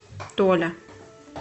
толя